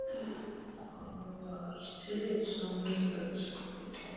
Hann var tillitssamur elskhugi.